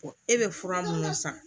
E bɛ fura minnu san